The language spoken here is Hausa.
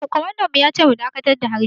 Kwamandan mu ya ce mu dakatar da harbi.